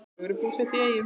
Þau eru búsett í Eyjum.